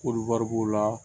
Koli wari b'o la